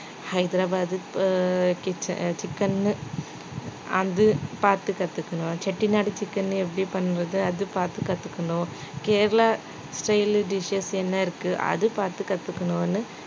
ஹைதராபாத் ப~ கிச்ச~ அஹ் chicken அது பாத்து கத்துக்கணும் செட்டிநாடு chicken எப்படி பண்றது அது பாத்து கத்துக்கணும் கேரளா style dishes என்ன இருக்கு அது பாத்து கத்துக்கணும்னு